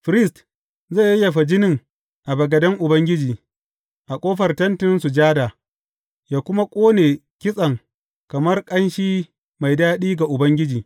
Firist zai yayyafa jinin a bagaden Ubangiji, a ƙofar Tentin Sujada, yă kuma ƙone kitsen kamar ƙanshi mai daɗi ga Ubangiji.